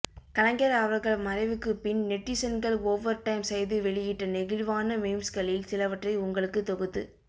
கலைஞர் அவர்கள் மறைவுக்குப்பின் நெட்டிசன்கள் ஓவர் டைம் செய்து வெளியிட்ட நெகிழ்வான மீம்ஸுகளில் சிலவற்றை உங்களுக்கு தொகுத்துத்